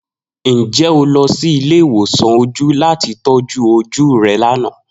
Njẹ o lọ si ile-iwosan oju lati tọju oju rẹ lana?